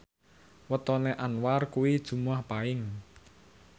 wetone Anwar kuwi Jumuwah Paing